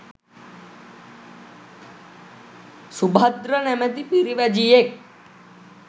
සුභද්‍ර නමැති පිරිවැජියෙක්